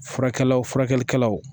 Furakɛlaw furakɛlikɛlaw